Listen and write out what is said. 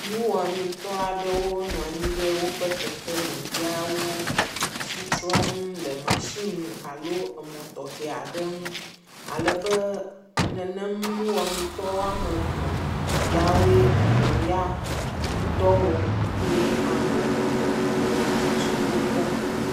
Ŋuwɔamitɔaɖewo nɔanyi ɖe wóƒe keke me ya wóle asitrɔm le machine alo emɔ tɔxɛaɖeŋu alebe nenem nuwɔamitɔ yawoe emɔ ŋdɔ wɔm ye ame eve le atsitsre wó kpɔm